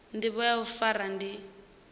ndivho ya u fara ndi